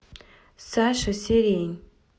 саша сирень